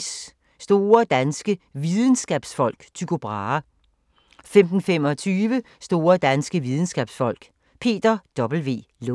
14:55: Store danske Videnskabsfolk: Tycho Brahe 15:25: Store danske videnskabsfolk: Peter W. Lund